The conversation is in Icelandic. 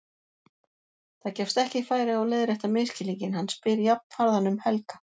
Það gefst ekki færi á að leiðrétta misskilninginn, hann spyr jafnharðan um Helga.